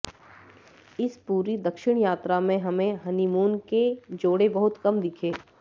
इस पूरी दक्षिण यात्रा में हमें हनीमून के जोड़े बहुत कम दिखे